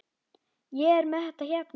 Ég er með þetta hérna.